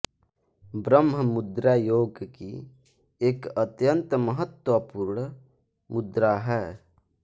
ब्रह्म मुद्रा योग की एक अत्यंत महत्वपूर्ण मुद्रा है